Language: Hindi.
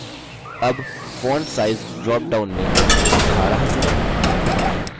अब font size dropdown में 18 चुनें